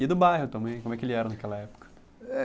E do bairro também, como é que ele era naquela época. Eh